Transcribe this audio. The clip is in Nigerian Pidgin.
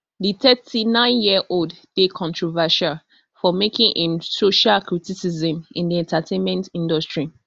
di thirty-nineyearold dey controversial for making im social criticism in di entertainment industry